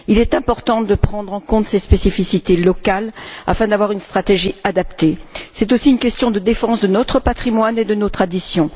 Il est important de prendre en compte ces spécificités locales afin d'avoir une stratégie adaptée. C'est aussi une question de défense de notre patrimoine et de nos traditions.